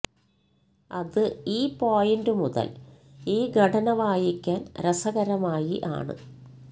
അത് ഈ പോയിന്റ് മുതൽ ഈ ഘടന വായിക്കാൻ രസകരമായി ആണ്